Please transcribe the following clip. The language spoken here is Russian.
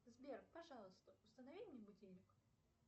сбер пожалуйста установи мне будильник